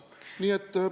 Nii et ...